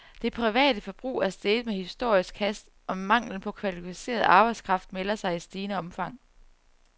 Det private forbrug er steget med historisk hast, og manglen på kvalificeret arbejdskraft melder sig i stigende omfang.